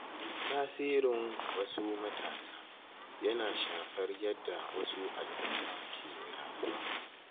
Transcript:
Tasirin wasu matasa yana shafar yadda wasu al'umma ke rayuwa